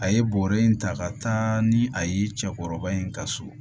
A ye bɔrɛ in ta ka taa ni a ye cɛkɔrɔba in ka so